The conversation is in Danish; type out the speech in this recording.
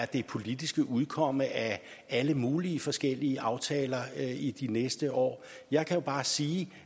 det politiske udkomme af alle mulige forskellige aftaler i de næste år jeg kan bare sige